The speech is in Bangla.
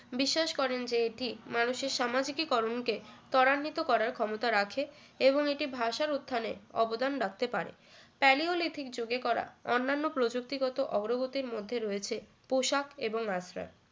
বিশ্বাস করেন যে এটি মানুষের সামাজিকীকরণ কে ত্বরান্বিত করার ক্ষমতা রাখে এবং এটি ভাষার উত্থানে অবদান রাখতে পারে Palaeolithic যুগে করা অন্নান্য প্রযুক্তি গত অগ্রগতির মধ্যে রয়েছে পোশাক এবং আশ্রয়